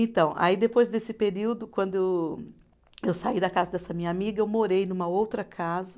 Então, aí depois desse período, quando eu saí da casa dessa minha amiga, eu morei numa outra casa.